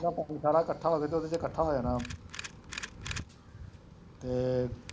ਪਾਣੀ ਸਾਰਾ ਇਕੱਠਾ ਹੋਵੇ ਤਾਂ ਉਹਦੇ ਚ ਇਕੱਠਾ ਹੋ ਜਾਣਾ ਫੇਰ